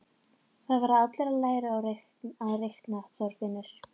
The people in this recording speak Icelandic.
Það verða allir að læra að reikna, Þorfinnur